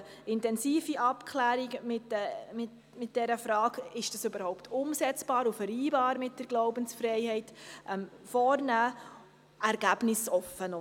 Wir würden intensive Abklärungen zur Umsetzbarkeit und Vereinbarkeit mit der Glaubensfreiheit vornehmen.